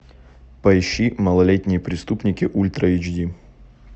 поищи малолетние преступники ультра эйч ди